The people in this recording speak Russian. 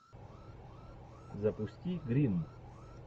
запусти гримм